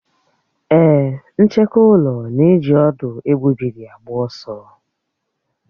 Èé, ncheke ụlọ na-eji ọ̀dú égbubị́ri agba ọsọ.